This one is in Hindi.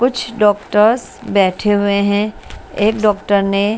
कुछ डॉक्टर्स बैठे हुए हैं एक डॉक्टर ने--